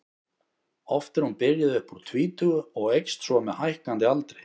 Oft er hún byrjuð upp úr tvítugu og eykst svo með hækkandi aldri.